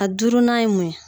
A duurunan ye mun ye